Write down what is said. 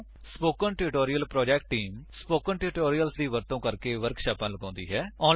spoken tutorial project team spoken tutorials ਦੀ ਵਰਤੋ ਕਰਕੇ ਵਰਕਸ਼ਾਪਾਂ ਲਗਾਉਂਦੀ ਹੈ